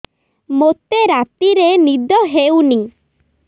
ମୋତେ ରାତିରେ ନିଦ ହେଉନି